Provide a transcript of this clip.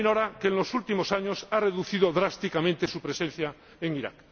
que en los últimos años ha reducido drásticamente su presencia en Irak.